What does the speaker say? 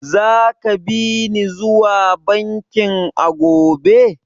Zaka bi ni zuwa bankin a gobe?